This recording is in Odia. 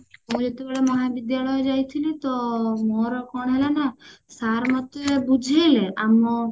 ମୁଁ ଯେତେବେଳେ ମହାବିଦ୍ୟାଳୟ ଯାଇଥିଲି ତ ମୋର କଣ ହୁଏ ନା sir ମତେ ବୁଝେଇଲେ ଆମ